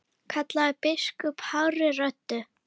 kallaði biskup hárri röddu.